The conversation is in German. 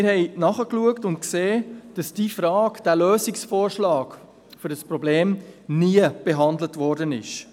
Wir haben nachgeschaut und gesehen, dass diese Frage, dieser Lösungsvorschlag für ein Problem nie behandelt worden war.